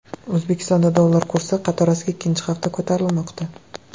O‘zbekistonda dollar kursi qatorasiga ikkinchi hafta ko‘tarilmoqda.